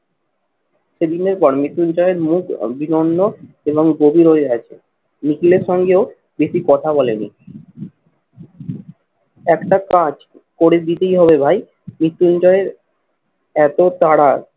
সেদিনের পর মৃত্যুঞ্জয় মুখ বিরন্য এবং গভীর হয়ে আছে। নিখিলের সঙ্গেও বেশি কথা বলে নি। একটা কাজ করে দিতেই হবে ভাই মৃত্যুঞ্জয় এর এত তারা